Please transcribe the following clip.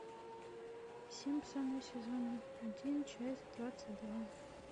симпсоны сезон один часть двадцать два